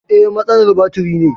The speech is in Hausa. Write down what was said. Eh, matsalar batiri ne